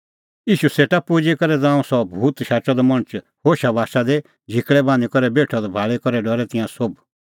ईशू सेटा पुजी करै ज़ांऊं सह भूत शाचअ द मणछ होशाबाशा दी झिकल़ै बान्हीं बेठअ द भाल़ी करै डरै तिंयां सोभ